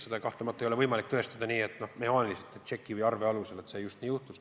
Seda kahtlemata ei ole võimalik tõestada mehaaniliselt tšekkide või arvete alusel, et just nii läks.